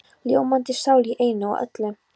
Ljómandi sál í einu og öllu.